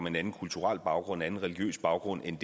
en anden kulturel baggrund anden religiøs baggrund end